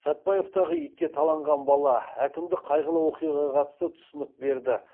сәтбаевтағы итке таланған бала әкімдік қайғылы оқиғаға қатысты түсінік берді